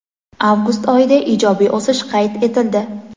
avgust oyida ijobiy o‘sish qayd etildi.